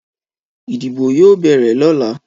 Ìdìbò yóò béèrè lọ́la